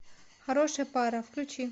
хорошая пара включи